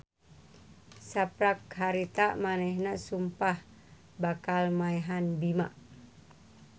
Saprak harita manehna sumpah bakal maehan Bima.